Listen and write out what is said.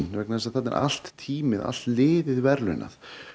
vegna þess að þarna er allt Team ið allt liðið verðlaunað